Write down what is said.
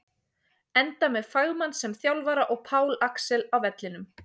Enda með fagmann sem þjálfara og Pál Axel á vellinum!